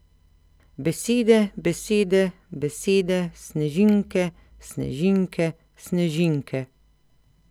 Besede, besede, besede, snežinke, snežinke, snežinke.